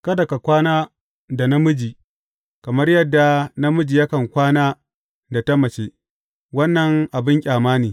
Kada ka kwana da namiji kamar yadda namiji yakan kwana da ta mace, wannan abin ƙyama ne.